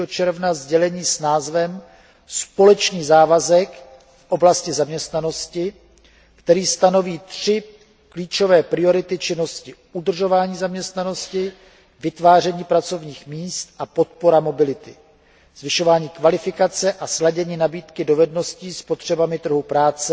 3. června sdělení s názvem Společný závazek v oblasti zaměstnanosti, které stanoví tři klíčové priority činností udržování zaměstnanosti, vytváření pracovních míst a podpora mobility, zvyšování kvalifikace a sladění nabídky dovedností s potřebami trhu práce